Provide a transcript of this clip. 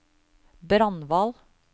Brandval